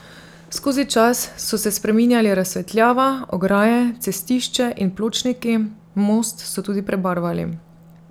Skozi čas so se spreminjali razsvetljava, ograje, cestišče in pločniki, most so tudi prebarvali.